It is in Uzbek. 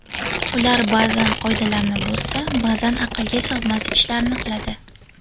Ular ba’zan qoidalarni buzsa, ba’zan aqlga sig‘mas ishlarni qiladi.